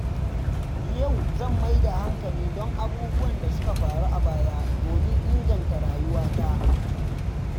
Yau zan mai da hankali kan abubuwan da suka faru a baya domin inganta rayuwata.